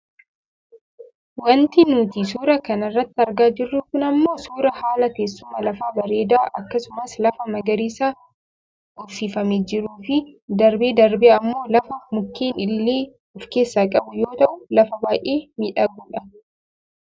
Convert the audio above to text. wanti nuti suuraa kana irratti argaa jirru kun ammoo suuraa haala teessuma lafaa bareedaa akkasumas lafa magariisaa uffifamee jiruufi darbee darbee ammoo lafa mukeen illee of keessaa qabu yoo ta'u lafa baayyee miidhagudha.